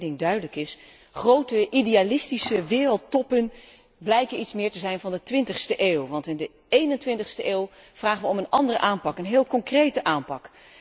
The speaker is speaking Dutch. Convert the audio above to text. Alleen, als één ding duidelijk is, grote idealistische wereldtoppen blijken meer iets te zijn van de twintigste eeuw, want in de eenentwintigste eeuw vragen wij om een andere aanpak, een heel concrete aanpak.